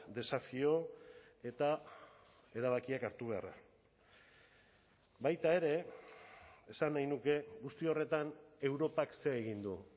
desafio eta erabakiak hartu beharra baita ere esan nahi nuke guzti horretan europak zer egin du